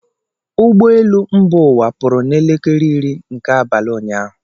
Ụgbọ elu mba ụwa pụrụ n'elekere iri nke abalị ụnyaahụ.